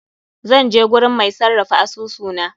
Zan je gurin mai sarrafa asusu na.